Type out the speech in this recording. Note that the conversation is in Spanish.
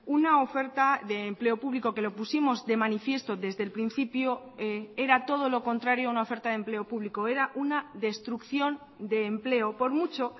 una oferta de empleo público que lo pusimos de manifiesto desde el principio era todo lo contrario a una oferta de empleo público era una destrucción de empleo por mucho